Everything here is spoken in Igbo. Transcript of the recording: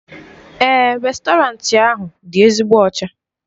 Èè, réstọranti ahụ dị ezigbo ọcha.